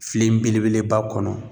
Filen belebeleba kɔnɔ